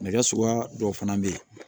Nɛgɛ suguya dɔw fana bɛ yen